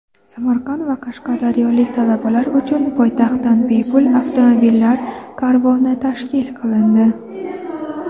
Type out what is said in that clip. Samarqand va qashqadaryolik talabalar uchun poytaxtdan bepul avtomobillar karvoni tashkil qilindi.